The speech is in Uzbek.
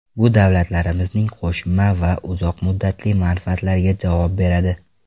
Bu davlatlarimizning qo‘shma va uzoq muddatli manfaatlariga javob beradi.